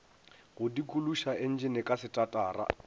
go dikološa entšene ka setatara